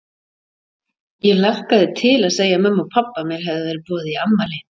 Ég hlakkaði til að segja mömmu og pabba að mér hefði verið boðið í afmæli.